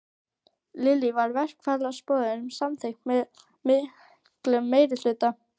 Lillý, var verkfallsboðun samþykkt með miklum meirihluta?